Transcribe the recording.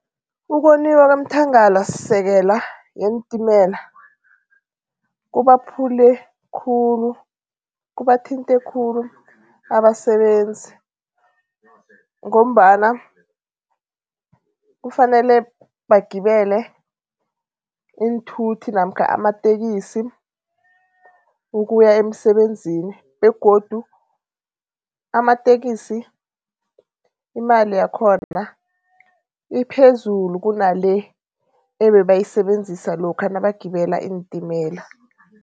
Ukoniwa komthangalasisekela yeentimela kubaphule khulu, kubathinte khulu abasebenzi ngombana kufanele bagibele iinthuthi namkha amatekisi ukuya emsebenzini begodu amatekisi imali yakhona iphezulu kunale ebebayisebenzisa lokha nabagibela iintimela.